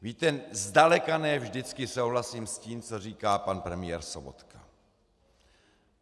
Víte, zdaleka ne vždycky souhlasím s tím, co říká pan premiér Sobotka.